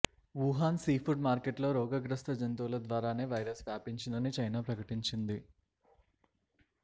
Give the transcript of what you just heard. Wuhan seafood మార్కెట్లో రోగగ్రస్త జంతువుల ద్వారానే వైరస్ వ్యాపించిందని చైనా ప్రకటించింది